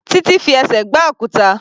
Titi fi ẹsẹ̀ gbá òkúta.